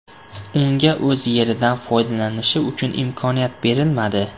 Unga o‘z yeridan foydalanishi uchun imkoniyat berilmadi?